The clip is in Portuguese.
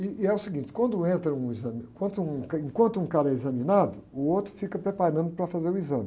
E é o seguinte, enquanto um exami, enquanto um, enquanto um cara é examinado, o outro fica preparando para fazer o exame.